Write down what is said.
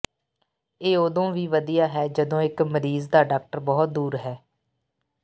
ਇਹ ਉਦੋਂ ਵੀ ਵਧੀਆ ਹੈ ਜਦੋਂ ਇੱਕ ਮਰੀਜ਼ ਦਾ ਡਾਕਟਰ ਬਹੁਤ ਦੂਰ ਹੈ